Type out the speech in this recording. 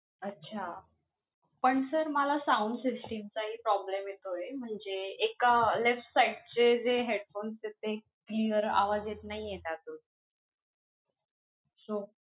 अच्छा. पण sir मला sound system चाही problem येतोय, म्हणजे एका left side चे जे headphones आहेत ते clear आवाज येत नाही त्यातून. so